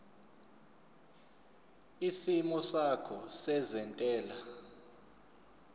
isimo sakho sezentela